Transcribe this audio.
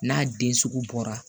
N'a den sugu bɔra